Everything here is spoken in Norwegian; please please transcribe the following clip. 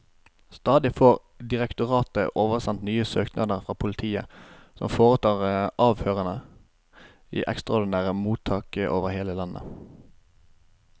Stadig får direktoratet oversendt nye søknader fra politiet, som foretar avhørene i ekstraordinære mottak over hele landet.